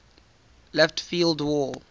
left field wall